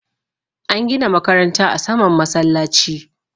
an gina makaranta a saman masallaci